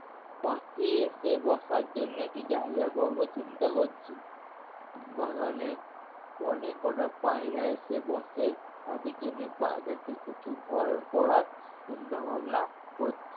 পাখি এসে বসার জন্যে একটু জায়গা করবো চিন্তা করছি। বাগানে অনেক কটা পায়রা এসে বসে তাদের জন্যে পায়রাদের কিছু ঘর করার চিন্তা ভাবনা করছি।